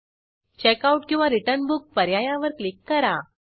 checkout किंवा return book पर्यायावर click करा